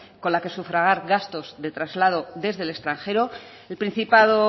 con la que sufragar gastos de traslados desde el extranjero el principado